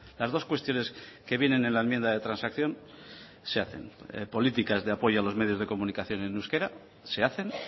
las dos cuestiones que vienen en la enmienda de transacción se hacen políticas de apoyo a los medios de comunicación en euskera se hacen